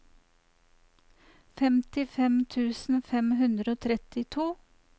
femtifem tusen fem hundre og trettito